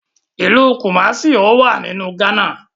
Ilú Kumasi ọwá nínú Ghana